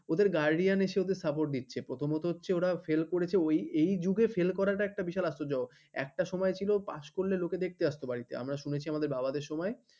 ওদের guardian এসে support দিচ্ছে। প্রথমত হচ্ছে ওরা fail করেছে ওই এ যুগে fail করাটা একটা বিশাল আশ্চর্য একটা সময় ছিল pass লোকে দেখতে আসতে বাড়িতে। আমরা চলেছি আমাদের বাবাদের সময়ে